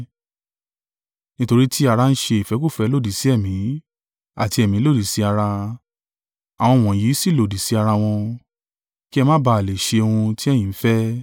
Nítorí ti ara ń ṣe ìfẹ́kúfẹ̀ẹ́ lòdì sí Ẹ̀mí, àti Ẹ̀mí lòdì sí ara, àwọn wọ̀nyí sì lòdì sí ara wọn; kí ẹ má ba à lè ṣe ohun tí ẹ̀yin ń fẹ́.